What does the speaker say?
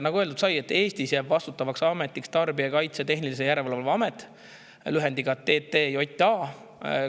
Nagu öeldud sai, Eestis jääb vastutavaks ametiks Tarbijakaitse ja Tehnilise Järelevalve Amet, lühendiga TTJA.